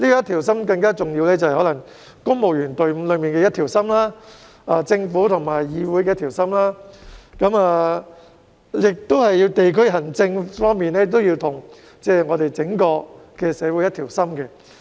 同樣重要的是，公務員隊伍上下一心，政府和議會上下一心，以及地區行政與整個社會上下一心。